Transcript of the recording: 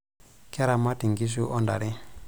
Keramat nkishu ontare.